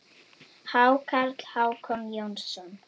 Hákarl: Hákon Jónsson